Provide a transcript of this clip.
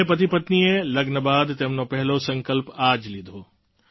બંને પતિપત્નીએ લગ્ન બાદ તેમનો પહેલો સંકલ્પ આ જ લીધો